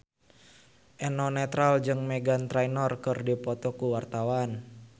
Eno Netral jeung Meghan Trainor keur dipoto ku wartawan